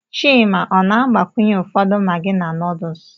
Chima ọ na-agbakwunye ụfọdụ maggi na noodles?